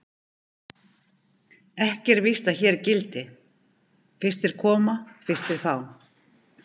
Ekki er víst að hér gildi: Fyrstir koma, fyrstir fá.